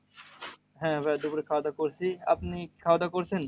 হ্যাঁ ভাই দুপুরে খাওয়া দাওয়া করছি। আপনি কি খাওয়া দাওয়া করছেন?